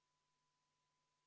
Palun võtta seisukoht ja hääletada!